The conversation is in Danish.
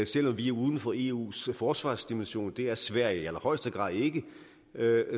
selv om vi er uden for eus forsvarsdimension det er sverige i allerhøjeste grad ikke